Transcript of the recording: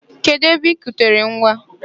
Kedu ebe I kutere nwa?